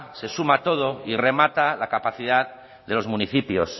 se suma todo y remata la capacidad de los municipios